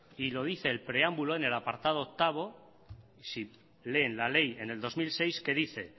y lo dice el preámbulo en el apartado ocho si leen la ley en el dos mil seis que dice